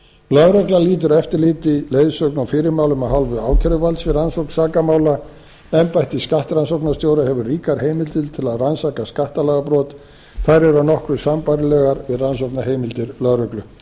lögreglan lýtur eftirliti leiðsögn og fyrirmælum af hálfu ákæruvalds við rannsókn sakamála embætti skattrannsóknastjóra hefur ríkar heimildir til að rannsaka skattalagabrot þær eru nokkuð sambærilegar við rannsóknarheimildir lögreglu ég